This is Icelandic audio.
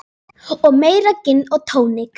Og meira gin og tónik.